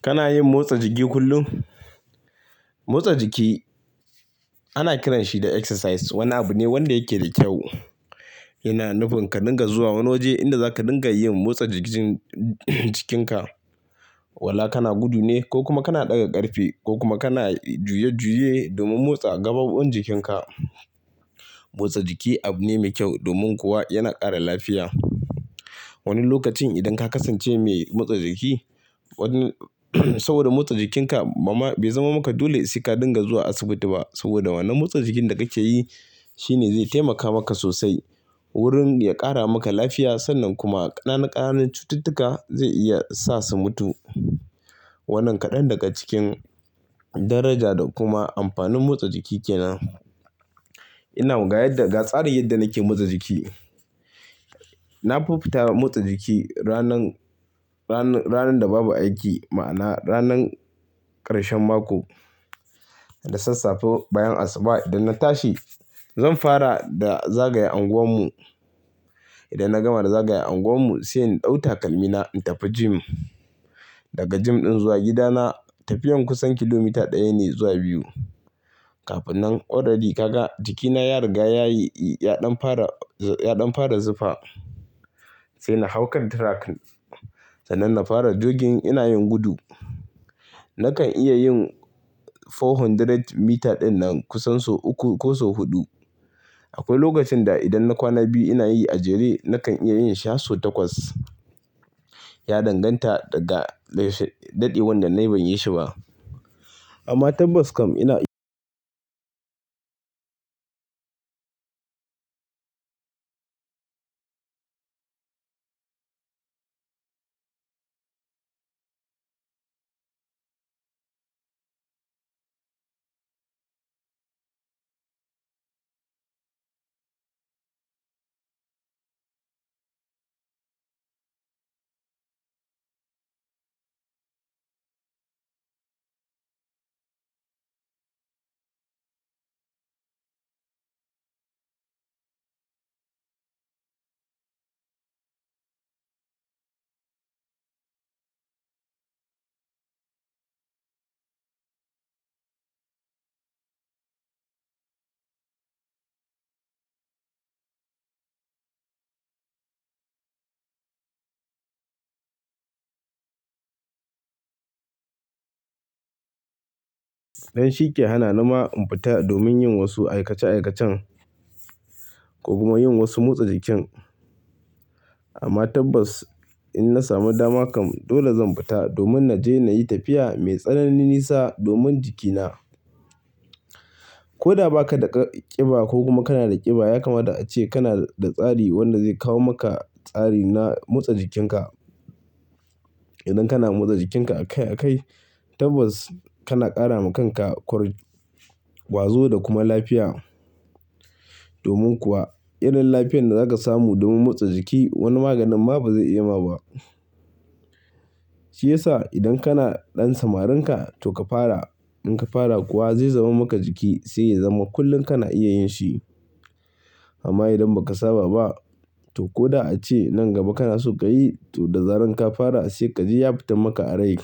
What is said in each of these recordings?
Kana yin motsa jiki kullum? Motsa jiki ana kiranshi da exercise. Wani abu ne wanda yake da kyau, yana nufin ka dinga zuwa wani waje inda zaka dinga yin motsa jikin jikin ka, wala kana gudu ne ko kuma kana ɗaga ƙarfe ko kuma kana juye juye domin motsa gaɓoɓin jikinka motsa jiki abu ne mai kyau domin kuwa yana ƙara lafiya. Wani lokacin idan ka kasance mai motsa jiki, wani saboda motsa jikinka ba ma bai zama maka dole sai ka dinga zuwa asibiti ba saboda wannan motsa jikin da kake yi shine zai taimaka maka sosai wurin ya ƙara maka lafiya sannan kuma ƙananu ƙananun cututtuka zai iya sa su mutu. Wannan kaɗan daga cikin daraja da kuma amfanin motsa jiki kenan ga yadda ga tsarin yadda nake motsa jiki na fi fita motsa jiki ranan da babu aiki ma'ana ranan karshen mako da sassafe bayan asuba idan na tashi zan fara da zagaya anguwan mu idan na gama da zagaya anguwan mu sai in ɗau takalmina in tafi gym. Daga gym ɗin zuwa gida na tafiyan kusan kilometer ɗaya ne zuwa biyu. Kafinan ka ga jikina ya riga yayi ya ɗan fara ya ɗan fara zufa sai na hau kan track sannan na fara jogging ina yin gudu. Nakan iya yin four hundred meter ɗin nan kusan sau uku ko sau huɗu. Akwai lokacin da idan na kwana biyu ina yi a jere nakan iya yin shi har sau takwas. Ya danganta da ga daɗewan da na yi ban yi shi ba. Amma tabbas kam ina ɗan shike hana nima in fita domin yin wasu aikace aikacen ko kuma yin wasu motsa jikin. Amma tabbas in na samu dama kam dole zan fita domin na je na yi tafiya mai tsananin nisa domin jikina. Ko da ba ka da ƙiba ko kuma kana da ƙiba ya kamata ace kana da tsari wanda zai kawo maka tsari na motsa jikin ka. Idan kana motsa jikinka a kai a kai tabbas kana ƙara ma kanka ƙwar, ƙwazo da kuma lafiya. Domin kuwa irin lafiya da zaka samu domin motsa jiki wani maganin ma ba zai iya ma ba. Shi yasa idan kana ɗan samarinka to ka fara. In ka fara kuwa zai zama maka jiki sai ya zama kullum kana iya yin shi. Amma idan ba ka saba ba to ko da ace nan gaba kana so ka yi to da zaran ka fara sai ka ji ya fitan maka a rai.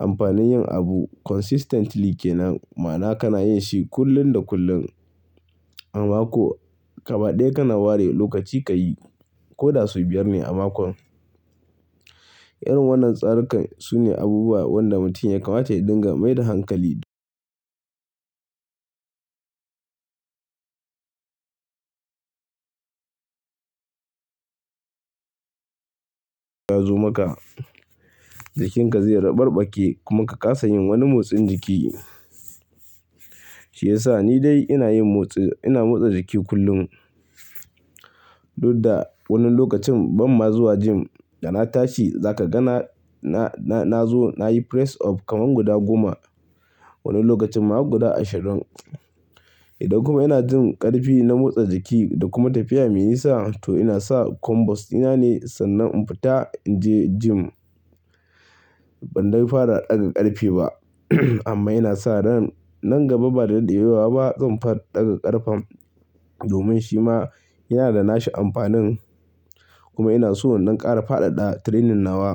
Amfanin yin abu consistently kenan ma'ana kana yin shi kullun da kullun. A mako kaba daya kana ware lokaci ka yi ko da sau biyar ne a makon irin wannan tsarikan su ne abubuwa da mutum ya kamata ya dinga mai da hankali. Ya zo maka jikinka zai rabarɓake kuma ka kasa yin wani motsin jiki. Shi yasa ni dai ina yin motsi, ina motsa jiki kullum. Koda wani lokacin ban ma zuwa gym. Da na tashi za ka ga na na na zo nayi press up kaman guda goma. Wani lokacin ma har guda ashirin idan kuma ina jin karfi na motsa jiki da kuma tafiya me nisa to ina sa kwambas dina ne sannan in fita in je gym ban de fara ɗaga ƙarfe ba amma ina sa ran nan gaba ba da daɗewa ba zan fara ɗaga ƙarfem domin shi ma yana da nashi amfanin kuma ina so in ɗan ƙara faɗaɗa training nawa.